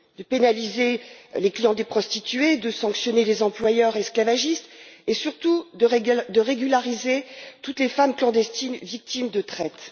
De pénaliser les clients des prostituées, de sanctionner les employeurs esclavagistes et, surtout, de régulariser toutes les femmes clandestines victimes de traite.